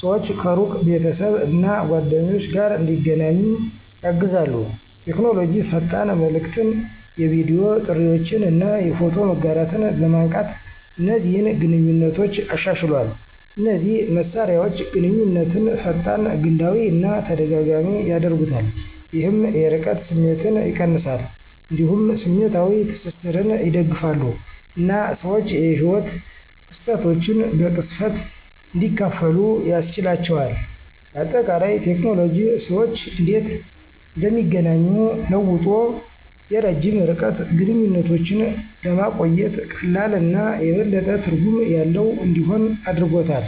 ሰዎች ከሩቅ ቤተሰብ እና ጓደኞች ጋር እንዲገናኙ ያግዛሉ። ቴክኖሎጂ ፈጣን መልዕክትን፣ የቪዲዮ ጥሪዎችን እና የፎቶ መጋራትን በማንቃት እነዚህን ግንኙነቶች አሻሽሏል። እነዚህ መሳሪያዎች ግንኙነትን ፈጣን፣ ግላዊ እና ተደጋጋሚ ያደርጉታል፣ ይህም የርቀት ስሜትን ይቀንሳል። እንዲሁም ስሜታዊ ትስስርን ይደግፋሉ እና ሰዎች የህይወት ክስተቶችን በቅጽበት እንዲያካፍሉ ያስችላቸዋል። በአጠቃላይ፣ ቴክኖሎጂ ሰዎች እንዴት እንደሚገናኙ ለውጦ የረጅም ርቀት ግንኙነቶችን ለማቆየት ቀላል እና የበለጠ ትርጉም ያለው እንዲሆን አድርጎታል።